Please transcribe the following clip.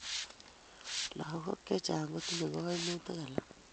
Lagok chechang' kotinye kaimutik alak